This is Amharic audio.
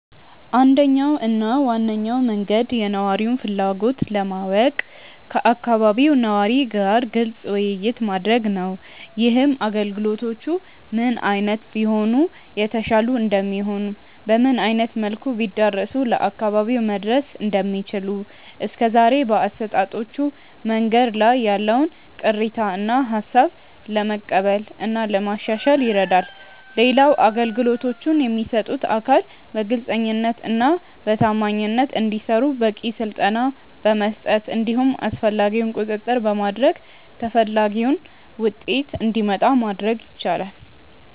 አንደኛው እና ዋነኛው መንገድ የነዋሪውን ፍላጎት ለማወቅ ከአካባቢው ነዋሪ ጋር ግልጽ ውይይት ማድረግ ነው። ይህም አገልግሎቶቹ ምን አይነት ቢሆኑ የተሻሉ እንደሚሆኑ፤ በምን አይነት መልኩ ቢዳረሱ ለአካባቢው መድረስ እንደሚችሉ፤ እስከዛሬ በአሰጣጦቹ መንገዶች ላይ ያለውን ቅሬታ እና ሃሳብ ለመቀበል እና ለማሻሻል ይረዳል። ሌላው አገልግሎቶቹን የሚሰጡት አካል በግልጸኝነት እና በታማኝነት እንዲሰሩ በቂ ስልጠና በመስጠት እንዲሁም አስፈላጊውን ቁጥጥር በማድረግ ተፈላጊው ውጤት እንዲመጣ ማድረግ ይቻላል።